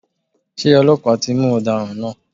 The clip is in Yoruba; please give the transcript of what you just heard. Ṣé ọlọ́pàá ti mú ọ̀daràn náà?